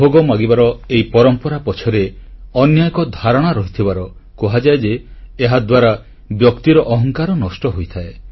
ଭୋଗ ମାଗିବାର ଏହି ପରମ୍ପରା ପଛରେ ଅନ୍ୟ ଏକ ଧାରଣା ରହିଥିବାର କୁହାଯାଏ ଯେ ଏହାଦ୍ୱାରା ବ୍ୟକ୍ତିର ଅହଂକାର ନଷ୍ଟ ହୋଇଥାଏ